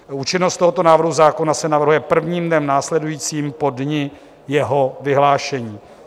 Účinnost tohoto návrhu zákona se navrhuje prvním dnem následujícím po dni jeho vyhlášení.